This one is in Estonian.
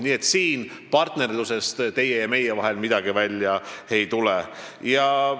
Nii et siin meie ja teie partnerlusest midagi välja ei tule.